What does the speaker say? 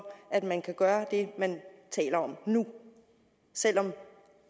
at man kan gøre det man taler om nu selv om